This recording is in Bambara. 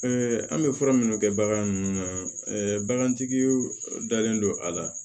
an bɛ fura minnu kɛ bagan ninnu na bagantigi dalen don a la